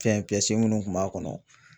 Fɛn minnu kun b'a kɔnɔ